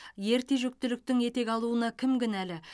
ерте жүктіліктің етек алуына кім кінәлі